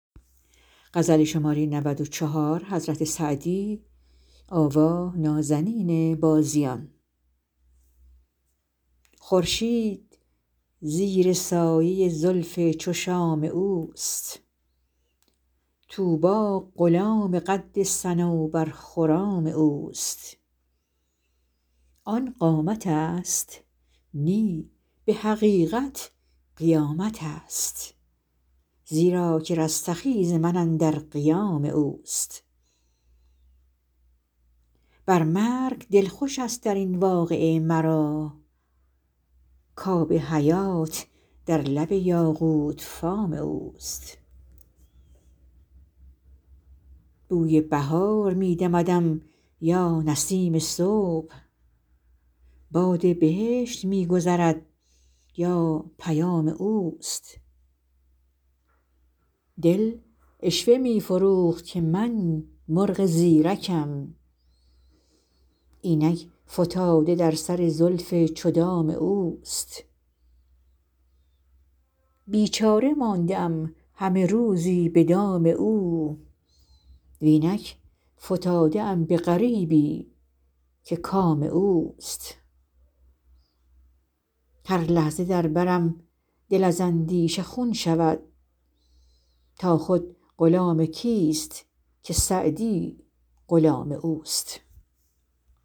خورشید زیر سایه زلف چو شام اوست طوبی غلام قد صنوبرخرام اوست آن قامتست نی به حقیقت قیامتست زیرا که رستخیز من اندر قیام اوست بر مرگ دل خوشست در این واقعه مرا کآب حیات در لب یاقوت فام اوست بوی بهار می دمدم یا نسیم صبح باد بهشت می گذرد یا پیام اوست دل عشوه می فروخت که من مرغ زیرکم اینک فتاده در سر زلف چو دام اوست بیچاره مانده ام همه روزی به دام او و اینک فتاده ام به غریبی که کام اوست هر لحظه در برم دل از اندیشه خون شود تا خود غلام کیست که سعدی غلام اوست